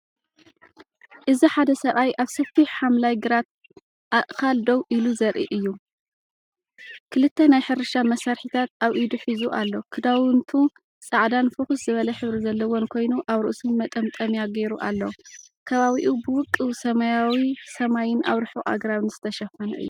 እዚ ሓደ ሰብኣይ ኣብ ሰፊሕ ሓምላይ ግራት ኣእካል ደው ኢሉ ዘርኢ እዩ። ክልተ ናይ ሕርሻ መሳርሒታት ኣብ ኢዱሒዙ ኣሎ። ክዳውንቱ ጻዕዳን ፍኹስ ዝበለ ሕብሪ ዘለዎን ኮይኑ፡ኣብ ርእሱ መጠምጠምያ ገይሩ ኣሎ። ከባቢኡ ብውቁብ ሰማያዊሰማይን ኣብ ርሑቕ ኣግራብን ዝተሸፈነ እዩ።